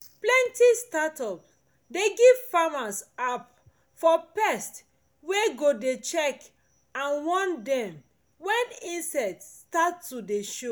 plenty startup dey give farmers app for pest wey go dey check and warn dem when insect start to dey show